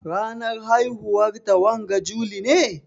Ranar haihuwar ta wanga juli ne?